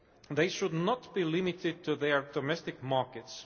They should not be limited to their domestic markets.